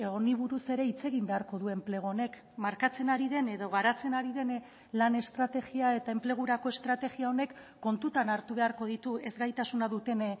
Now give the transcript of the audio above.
honi buruz ere hitz egin beharko du enplegu honek markatzen ari den edo garatzen ari den lan estrategia eta enplegurako estrategia honek kontutan hartu beharko ditu ezgaitasuna duten